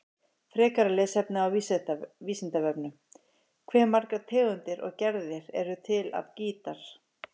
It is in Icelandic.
Frekara lesefni á Vísindavefnum: Hve margar tegundir og gerðir eru til af gítar?